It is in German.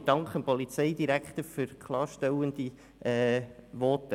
Ich danke dem Polizeidirektor für klarstellende Voten.